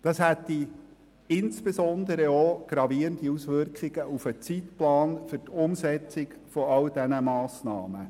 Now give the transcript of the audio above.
Das hätte insbesondere auch gravierende Auswirkungen auf den Zeitplan zur Umsetzung all dieser Massnahmen.